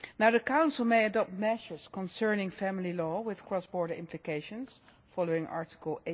The Council may adopt measures concerning family law with cross border implications following Article